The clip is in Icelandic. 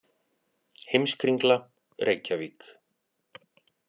Heimskringla, Reykjavík.